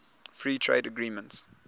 free trade agreements